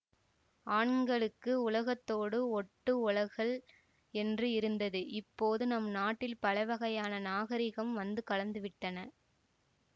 ஆண்களுக்கு உலகத்தோடு ஒட்டு ஒழுகல் என்று இருந்தது இப்போது நம் நாட்டில் பலவகையான நாகரிகம் வந்து கலந்துவிட்டன